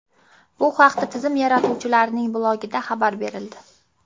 Bu haqda tizim yaratuvchilarining blogida xabar berildi .